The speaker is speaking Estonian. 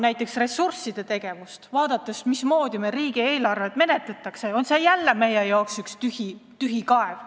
Vaadates ressursside jaotust ja seda, mismoodi meil riigieelarvet menetletakse, tundub paraku, et see on jälle meie jaoks üks tühi kaev.